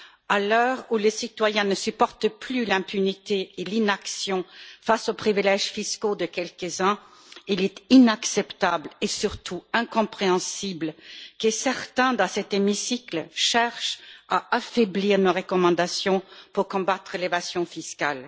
À l'heure où les citoyens ne supportent plus l'impunité et l'inaction face aux privilèges fiscaux de quelques uns, il est inacceptable, et surtout incompréhensible, que certains, dans cet hémicycle, cherchent à affaiblir nos recommandations pour combattre l'évasion fiscale.